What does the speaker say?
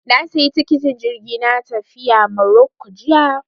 Na sayi tikitin jirgi na tafiya Maroko jiya